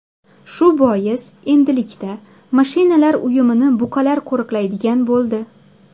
Shu bois endilikda mashinalar uyumini buqalar qo‘riqlaydigan bo‘ldi.